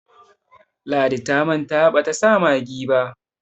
ladi ta manta bata sa maggi ba